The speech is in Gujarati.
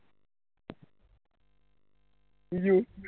બીજુ